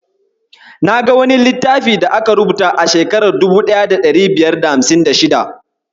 Na ga wani littafi da aka rubuta a shekarar 1556.